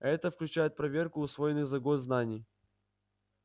а это включает проверку усвоенных за год знаний